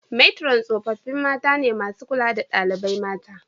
Metron tsofaffi mata ne masu kula da dalibai mata.